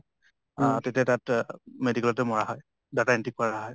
অ তেতিয়া তাত medical তে মৰা হয় , data entry কৰা হয়।